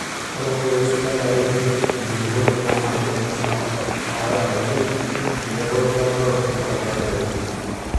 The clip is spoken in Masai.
Ore ntokitin sidain naitopirr enkulukuoni naa madini aa iron oo zinc tenebo rutuba aa phosphorus oo nitrogen.